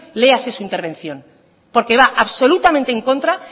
léase su intervención porque va absolutamente en contra